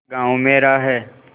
गॉँव मेरा है